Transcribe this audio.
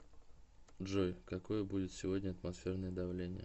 джой какое будет сегодня атмосферное давление